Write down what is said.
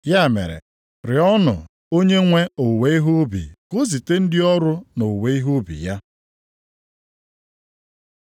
Ya mere, rịọọnụ Onyenwe owuwe ihe ubi ka o zite ndị ọrụ nʼowuwe ihe ubi ya.”